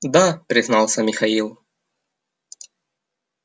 да признался михаил